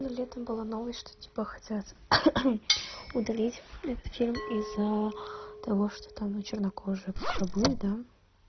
ну летом была новость что типа хотят удалить это фильм из-за того что там ну чернокожие как рабы да